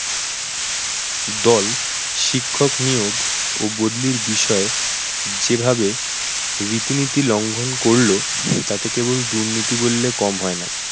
দল, শিক্ষক নিয়োগ, ও বদলির বিষয়ে যে ভাবে রীতিনীতি লঙ্ঘন করল তাতে কেবল দুর্নীতি বললে কম হয় না।